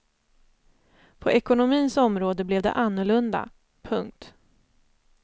På ekonomins område blev det annorlunda. punkt